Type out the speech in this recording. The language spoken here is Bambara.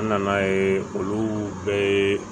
N nana ye olu bɛɛ